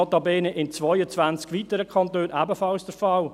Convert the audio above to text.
Notabene ist dies in 22 weiteren Kantonen ebenfalls der Fall.